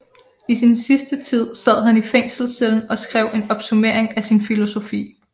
I sin sidste tid sad han i fængselscellen og skrev en opsummering af sin filosofi